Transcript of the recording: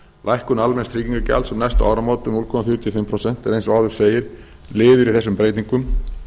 lækkun almenns tryggingagjalds um næstu áramót um núll komma fjörutíu og fimm prósent er eins og áður segir liður í þessum breytingum